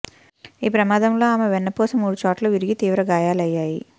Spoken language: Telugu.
ఈ ప్రమాదంలో ఆమె వెన్నుపూస మూడు చోట్ల విరిగి తీవ్ర గాయాలయ్యాయి